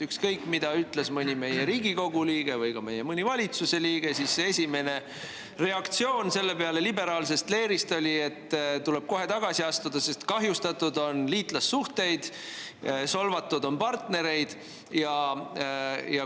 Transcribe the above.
Ükskõik, mida ütles mõni meie liige, kui ta oli Riigikogu liige või valitsuse liige, siis liberaalse leeri esimene reaktsioon sellele oli, et nii ei saa jätkata, kohe-kohe tuleb tagasi astuda, sest kahjustatud on liitlassuhteid, solvatud on partnereid.